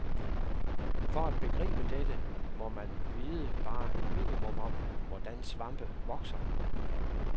For at begribe dette må man vide bare et minimum om, hvordan svampe vokser.